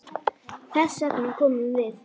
Þess vegna komum við.